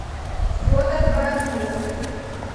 федор бородулин